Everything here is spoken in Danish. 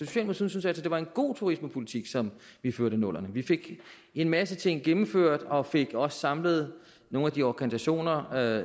syntes altså det var en god turismepolitik som vi førte i nullerne vi fik en masse ting gennemført og fik også samlet nogle af de organisationer